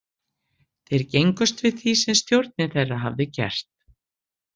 Þeir gengust við því sem stjórn þeirra hafði gert.